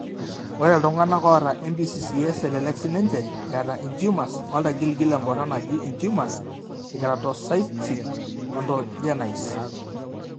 Ore iltung'anak oata NBCCS elelek siininche eeta intumors oltagiligil emboron naji intumors ekeratocystic odontogenice.